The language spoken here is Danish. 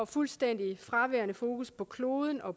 fuldstændig fraværende fokus på kloden og